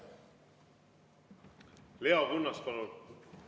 Leo Kunnas, palun!